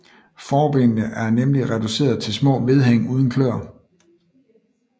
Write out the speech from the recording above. Forbenene er nemlig reduceret til små vedhæng uden kløer